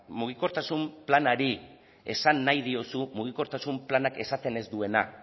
mugikortasun planari esan nahi diozu mugikortasun planak esaten ez duena